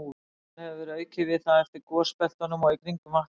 Síðan hefur verið aukið við það eftir gosbeltunum og í kringum Vatnajökul.